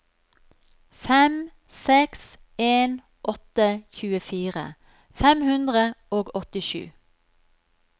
fem seks en åtte tjuefire fem hundre og åttisju